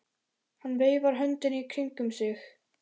Hann veifar höndunum í kringum sig.